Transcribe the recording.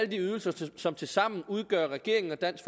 de ydelser som tilsammen udgør regeringen og dansk